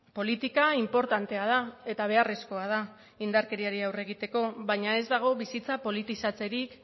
politika inportantea da eta beharrezkoa da indarkeriari aurre egiteko baina ez dago bizitza politizatzerik